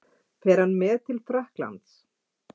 Fer hann með til Frakklands?